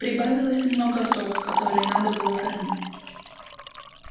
прибавилось много ртов которые надо было кормить